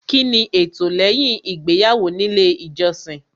Kíni ẹtọ lẹ́yìn ìgbéyàwó nílé ìjọsìn